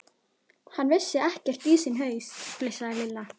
Hann vissi ekkert í sinn haus, flissaði Lilla.